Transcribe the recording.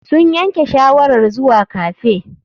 Sun yanke shawarar zuwa cafe.